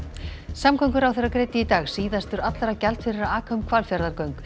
samgönguráðherra greiddi í dag síðastur allra gjald fyrir að aka um Hvalfjarðargöng